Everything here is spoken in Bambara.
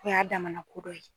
O y'a damana ko dɔ ye.